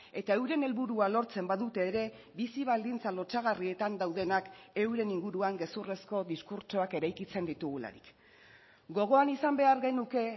eta euren helburua lortzen badute ere bizi baldintza lotsagarrietan daudenak euren inguruan gezurrezko diskurtsoak eraikitzen ditugularik gogoan izan behar genuke